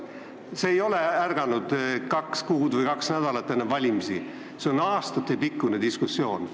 Me ei ole ärganud kaks kuud või kaks nädalat enne valimisi, see on olnud aastatepikkune diskussioon.